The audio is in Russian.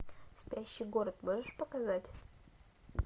спящий город можешь показать